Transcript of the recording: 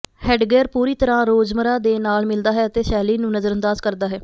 headgear ਪੂਰੀ ਤਰ੍ਹਾਂ ਰੋਜ਼ਮਰਾ ਦੇ ਨਾਲ ਮਿਲਦਾ ਹੈ ਅਤੇ ਸ਼ੈਲੀ ਨੂੰ ਨਜ਼ਰਅੰਦਾਜ਼ ਕਰਦਾ ਹੈ